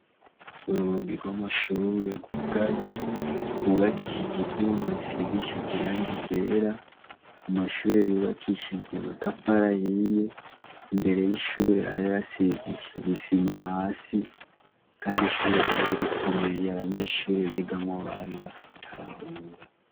Urugi rw'amashure rwugaye rwubakishije ivyuma bisigishe irangi ryera. Amashure yubakishije amatafari ahiye. imbere y'ishure hari hasigishije isima hasi kandi ishure ryari rikomeye kandi abanyeshure baryigamwo bari batahura.